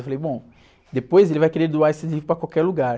Eu falei, bom, depois ele vai querer doar esse livro para qualquer lugar.